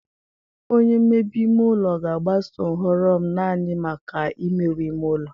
Onye mmebe ime ụlọ ga-agbaso nhọrọ m naanị maka imewe ime ụlọ.